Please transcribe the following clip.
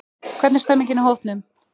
Hvernig stemmningin í hópnum?